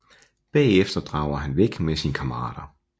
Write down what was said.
Bagefter drager han væk med sine kammerater